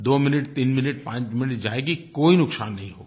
दो मिनटतीन मिनटपाँच मिनट जाएगी कोई नुकसान नहीं होगा